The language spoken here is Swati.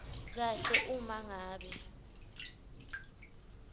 kahle uma ngabe